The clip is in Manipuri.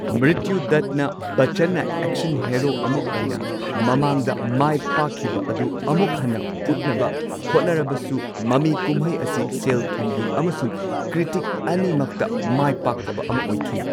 ꯃ꯭ꯔꯤꯠꯇ꯭ꯌꯨꯗꯥꯇꯅ ꯕꯆꯆꯟꯅ ꯑꯦꯛꯁꯟ ꯍꯦꯔꯣ ꯑꯃꯥ ꯑꯣꯏꯅ ꯃꯃꯥꯡꯗ ꯃꯥꯏꯄꯥꯛꯈꯤꯕ ꯑꯗꯨ ꯑꯃꯨꯛ ꯍꯟꯅ ꯎꯠꯅꯕ ꯍꯣꯠꯅꯔꯕꯁꯨ ꯃꯃꯤ ꯀꯨꯝꯍꯩ ꯑꯁꯤ ꯁꯦꯜ ꯊꯨꯝꯒꯤ ꯑꯃꯁꯨꯡ ꯀ꯭ꯔꯤꯇꯤꯛ ꯑꯅꯤꯃꯛꯇ ꯃꯥꯏꯄꯥꯛꯇꯕ ꯑꯃ ꯑꯣꯏꯈꯤ꯫